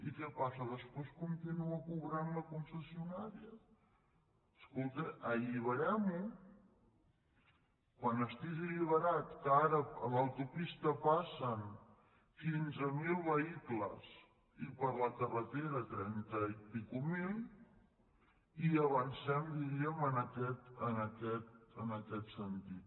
i què passa després continua cobrant la concessionà·ria escolti alliberem·ho i quan estigui alliberat que ara per l’autopista passen quinze mil vehicles i per la carretera trenta mil i escaig avancem diríem en aquest sentit